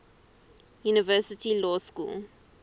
university law school